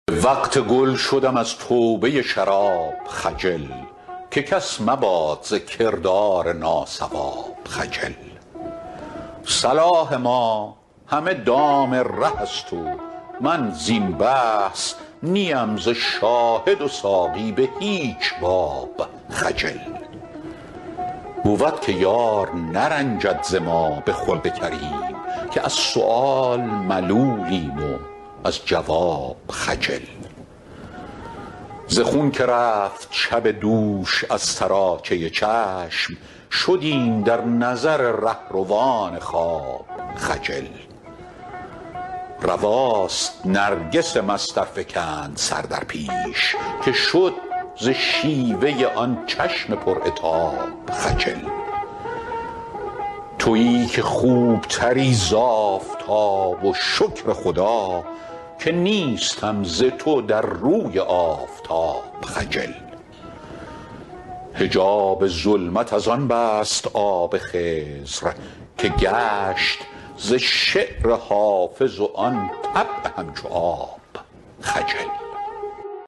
به وقت گل شدم از توبه شراب خجل که کس مباد ز کردار ناصواب خجل صلاح ما همه دام ره است و من زین بحث نی ام ز شاهد و ساقی به هیچ باب خجل بود که یار نرنجد ز ما به خلق کریم که از سؤال ملولیم و از جواب خجل ز خون که رفت شب دوش از سراچه چشم شدیم در نظر رهروان خواب خجل رواست نرگس مست ار فکند سر در پیش که شد ز شیوه آن چشم پر عتاب خجل تویی که خوب تری ز آفتاب و شکر خدا که نیستم ز تو در روی آفتاب خجل حجاب ظلمت از آن بست آب خضر که گشت ز شعر حافظ و آن طبع همچو آب خجل